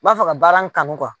N b'a fɛ ka baara in kanu